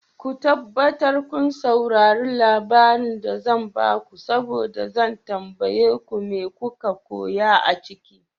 Ko tabbatar kun saurare labarin da zan bako saboda zan tambaye ku mai koka koya a ciki.